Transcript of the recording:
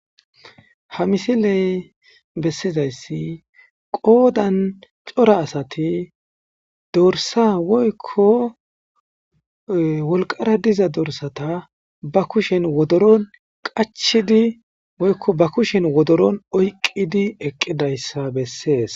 Ha misile besizasi qodan co,ra asati dorsa woyiko wolqara diza dorsata ba kushen wodoro bolla qachidi woyiko ba kushen wodoro oyiqidi besees